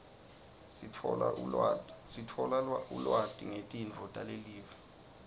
sithola ulwati ngetinto talelive